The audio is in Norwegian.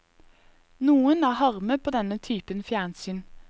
Noen er harme på denne typen fjernsyn.